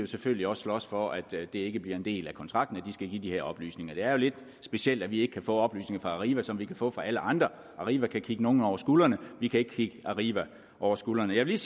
selvfølgelig også slås for at det ikke bliver en del af kontrakten at de skal give de her oplysninger det er jo lidt specielt at vi ikke kan få oplysninger fra arriva som vi kan få fra alle andre arriva kan kigge nogen over skuldrene vi kan ikke kigge arriva over skulderen jeg vil